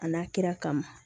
A n'a kira kama